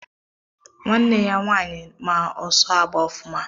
Nwanne m ya nwanyị ma ọsọ agba ọfụma